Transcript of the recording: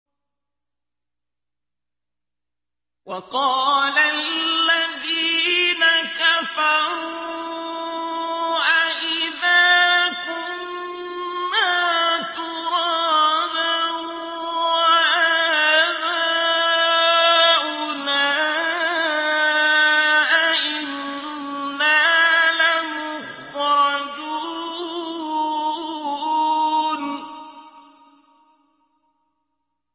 وَقَالَ الَّذِينَ كَفَرُوا أَإِذَا كُنَّا تُرَابًا وَآبَاؤُنَا أَئِنَّا لَمُخْرَجُونَ